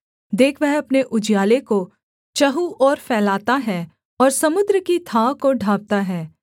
देख वह अपने उजियाले को चहुँ ओर फैलाता है और समुद्र की थाह को ढाँपता है